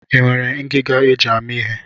I nwere ngiga e ji amị ihe?